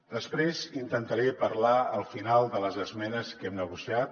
després intentaré parlar al final de les esmenes que hem negociat